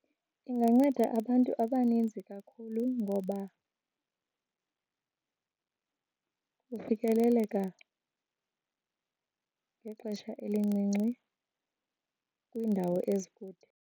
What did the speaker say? Inganceda abantu abaninzi kakhulu ngoba kufikeleleka ngexesha elincinci kwiindawo ezikude.